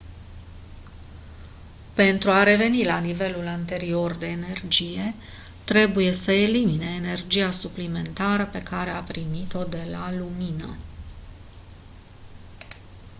pentru a reveni la nivelul anterior de energie trebuie să elimine energia suplimentară pe care a primit-o de la lumină